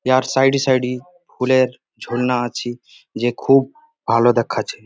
ইয়ার side -এ side -ই ফুলের ঝর্ণা আছে যে খুব ভালো দেখাছে।